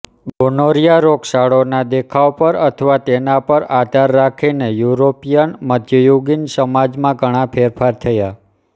gonorrhoea રોગચાળોના દેખાવ પર અથવા તેના પર આધાર રાખીને યુરોપિયન મધ્યયુગીન સમાજમાં ઘણા ફેરફાર થયા